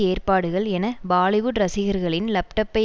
ஏற்பாடுகள் என பாலிவுட் ரசிகர்களின் லப்டப்பை